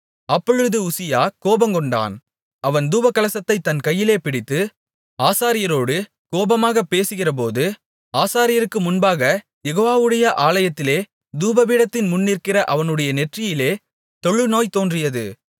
அப்பொழுது உசியா கோபங்கொண்டான் அவன் தூபகலசத்தைத் தன் கையிலே பிடித்து ஆசாரியரோடு கோபமாகப் பேசுகிறபோது ஆசாரியருக்கு முன்பாகக் யெகோவாவுடைய ஆலயத்திலே தூபபீடத்தின் முன்நிற்கிற அவனுடைய நெற்றியிலே தொழுநோய் தோன்றியது